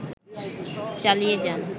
চালিয়ে যান